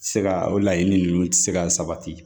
Se ka o laɲini ninnu tɛ se ka sabati